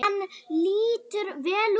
Hann lítur vel út.